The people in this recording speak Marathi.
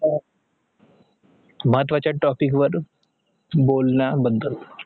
महत्वाचे topic वर बोलणं बदल